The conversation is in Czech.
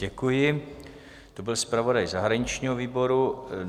Děkuji, to byl zpravodaj zahraničního výboru.